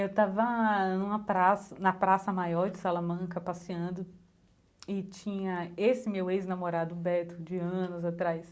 Eu estava numa praça na praça maior de Salamanca, passeando, e tinha esse meu ex-namorado, Beto, de anos atrás.